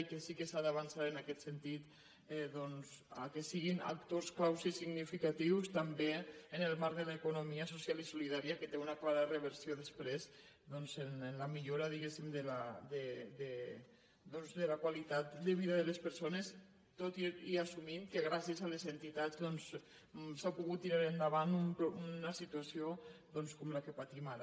i que sí que s’ha d’avançar en aquest sentit que siguin actors clau i significatius també en el marc de l’economia so·cial i solidària que té una clara reversió després en la millora diguéssim de la qualitat de vida de les perso·nes tot i assumir que gràcies a les entitats s’ha pogut tirar endavant una situació com la que patim ara